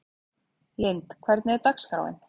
Lynd, hvernig er dagskráin?